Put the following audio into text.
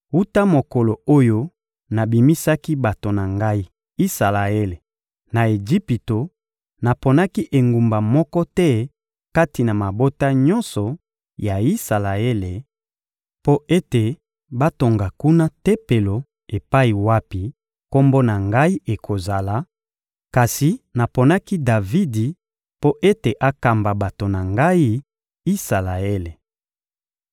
«Wuta mokolo oyo nabimisaki bato na Ngai, Isalaele, na Ejipito, naponaki engumba moko te kati na mabota nyonso ya Isalaele mpo ete batonga kuna Tempelo epai wapi Kombo na Ngai ekozala; kasi naponaki Davidi mpo ete akamba bato na Ngai, Isalaele!»